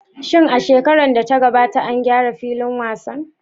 Shin a shekarar da ta gabata an gyara filin wasan?